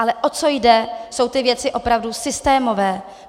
Ale o co jde, jsou ty věci opravdu systémové.